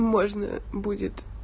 можно будет